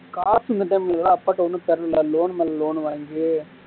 காசு மட்டும் இன்னும் அப்பாட்ட இன்னும் தரல loan மேல loan வாங்கி